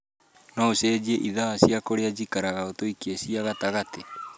no ũcenjie ithaa cia kũrĩa njikaraga ũtuĩke cia gatagatĩ